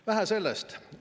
Vähe sellest!